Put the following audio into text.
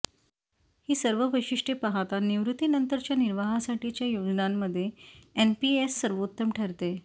ही सर्व वैशिष्ट्ये पहाता निवृत्तीनंतरच्या निर्वाहासाठीच्या योजनांमध्ये एनपीएस सर्वोत्तम ठरते